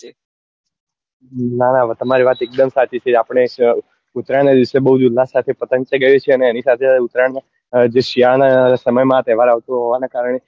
ના ના તમારી વાત એક દમ સાચી છે આપડે ઉતરાયણ ના દિવસે બઉ જ ઉલ્લાસ સાથે પતંગ ચગાવીએ છીએ અને એની સાથે સાથે ઉતરાયણ જે શિયાળા ના સમય માં આ તહેવાર આવતો હોવા ને કારણે